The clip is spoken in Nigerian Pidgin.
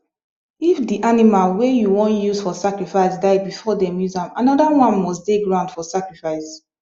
if the animal wey u wan use for sacrifice die before them use am another one must dey ground for sacrifice